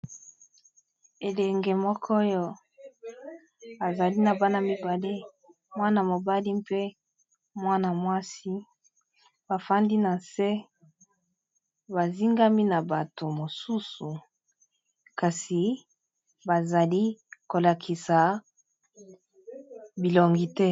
elenge moko oyo azali na bana mibale mwana-mobali mpe mwana mwasi bafandi na nse bazingami na bato mosusu kasi bazali kolakisa bilongi te